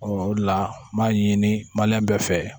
o de la n b'a ɲini bɛɛ fɛ